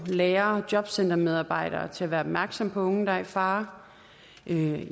lærere og jobcentermedarbejdere bedre på til at være opmærksomme på unge der er i fare